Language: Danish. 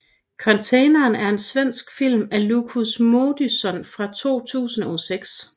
Container er en svensk film af Lukas Moodysson fra 2006